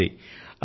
బాగుంది